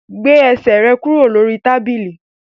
Gbé ẹsẹ̀ rẹ kúrò lórí tábìlì!